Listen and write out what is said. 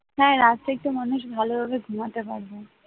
হ্যাঁ রাতটা একটু মানুষ ভালোভাবে ঘুমাতে পারবে